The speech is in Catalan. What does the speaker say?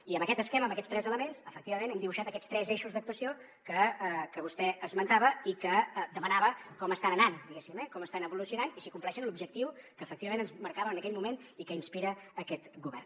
i amb aquest esquema amb aquests tres elements efectivament hem dibuixat aquests tres eixos d’actuació que vostè esmentava i que demanava com estan anant diguéssim eh com estan evolucionant i si compleixen l’objectiu que efectivament ens marcàvem en aquell moment i que inspira aquest govern